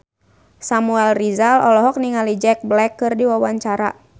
Samuel Rizal olohok ningali Jack Black keur diwawancara